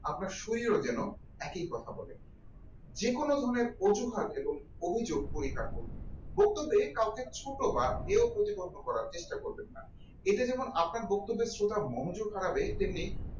আপনার শরীরে যেন একই কথা বলে যেকোনো ধরনের অজুহাত এবং অভিযোগ করে থাকুন বক্তব্য কাউকে ছোট কেউ প্রতিপন্ন করার চেষ্টা করবেন না এটা যেমন আপনার বক্তব্য শ্রোতার মনোযোগ হারাবে তেমনি